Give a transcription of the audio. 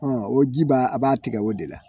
o ji b'a a b'a tigɛ o de la